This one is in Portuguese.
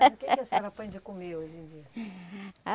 Mas o que que a senhora põe de comer hoje em dia? Ah